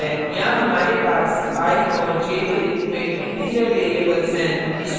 यहाँ हमारे पास i और j के रूप में integer variables हैं